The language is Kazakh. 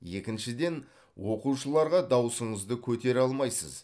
екіншіден оқушыларға даусыңызды көтере алмайсыз